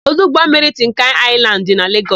Ọdụ ụgbọmmiri Tinkani Aịlandị dị na Legọs.